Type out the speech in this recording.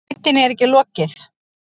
Leitinni er ekki lokið